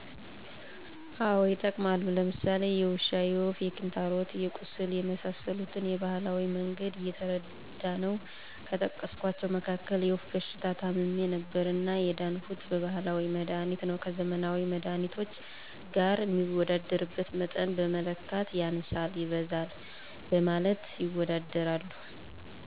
አወ ይጠቀማሉ። ለምሳሌ የውሻ፣ የወፍ፣ የክንታሮት፣ የቁስል የመሰሰሉትን በባህላዊ መንገድ እየተረዳነው ከጠቀስኳቸው መካክል የወፍ በሽታ ታምሜ ነበርና የዳንሁት በባህላዊ መድሀኒት ነው። ከዘመናዊ መድሃኒቶች ገር ሚወዳደርበት መጠን በመለካት ያንሳል ይበዛል በማለት ይወዳደራሉ።